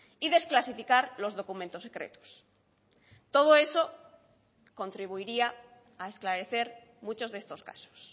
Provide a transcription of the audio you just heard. y desclasificar los documentos secretos todo eso contribuiría a esclarecer muchos de estos casos